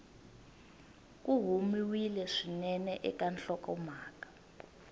ku humiwile swinene eka nhlokomhaka